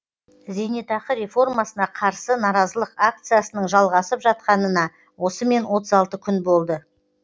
зейнетақы реформасына қарсы наразылық акциясының жалғасып жатқанына осымен отыз алты күн болды